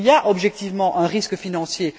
Il y a objectivement un risque financier.